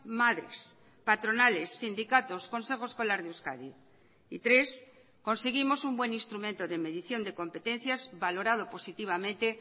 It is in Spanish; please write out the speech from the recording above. madres patronales sindicatos consejo escolar de euskadi y tres conseguimos un buen instrumento de medición de competencias valorado positivamente